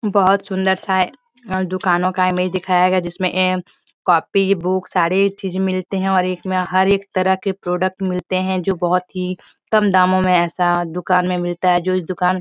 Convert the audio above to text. बहोत सुन्दर-सा दुकानों का इमेज दिखाया गया है जिसमे ऐं कॉपी बुक सारे चीज़ मिलते हैं और एक में हर एक तरह के प्रोडक्ट मिलते हैं जो बहोत ही कम दामों में ऐसा दुकान में मिलता है जो इस दुकान --